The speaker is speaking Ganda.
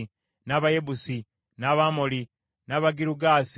n’Abayebusi, n’Abamoli, n’Abagirugaasi;